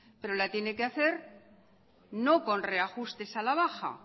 la tiene que hacer no con reajustes a la baja